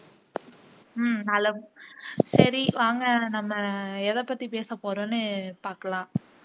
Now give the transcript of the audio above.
உம் நலம் சரி வாங்க நம்ம எதை பத்தி பேச போறோம்னு பாக்கலாம்